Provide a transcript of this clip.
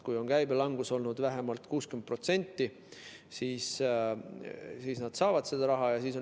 Kui käibe langus on olnud vähemalt 60%, siis nad saavad seda raha.